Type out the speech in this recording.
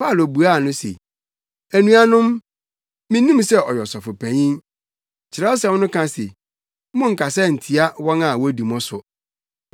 Paulo buaa wɔn se, “Anuanom, minnim sɛ ɔyɛ Ɔsɔfopanyin. Kyerɛwsɛm no ka se, ‘Monnkasa ntia wɔn a wodi mo so.’ ”